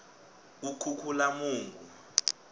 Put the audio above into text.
kukhukhulamungu